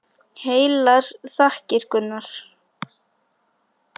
Heilar þakkir, Gunnar!